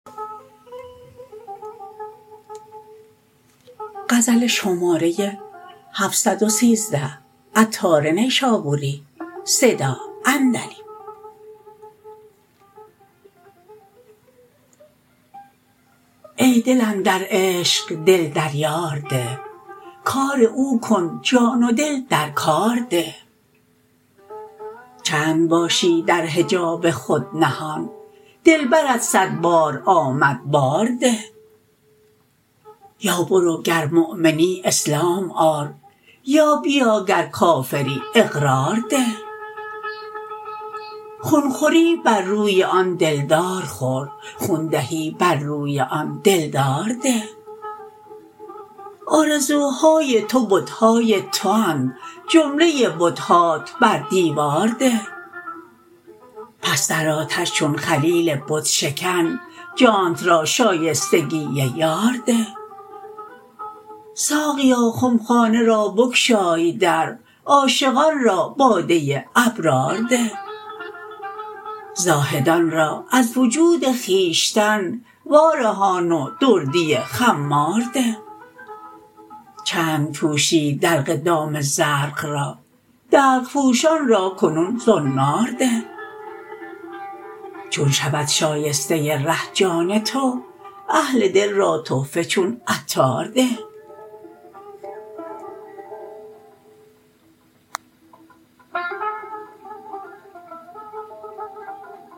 ای دل اندر عشق دل در یار ده کار او کن جان و دل در کار ده چند باشی در حجاب خود نهان دلبرت صد بار آمد بار ده یا برو گر مؤمنی اسلام آر یا بیا گر کافری اقرار ده خون خوری بر روی آن دلدار خور خون دهی بر روی آن دلدار ده آرزوهای تو بت های تواند جمله بت هات بر دیوار ده پس در آتش چون خلیل بت شکن جانت را شایستگی یار ده ساقیا خمخانه را بگشای در عاشقان را باده ابرار ده زاهدان را از وجود خویشتن وارهان و دردی خمار ده چند پوشی دلق دام زرق را دلق پوشان را کنون زنار ده چون شود شایسته ره جان تو اهل دل را تحفه چون عطار ده